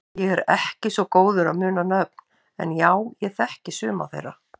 Ég er ekki svo góður að muna nöfn en já ég þekki suma þeirra.